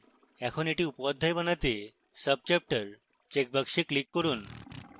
এখন এটি উপঅধ্যায় বানাতে subchapter checkbox click করুন